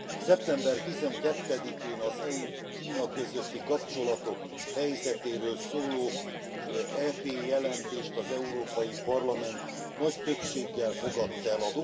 Szeptember tizenkettedikén, az EU és Kína közötti kapcsolatok helyzetéről szóló EP jelentést az Európai Parlament nagy többséggel fogadta el.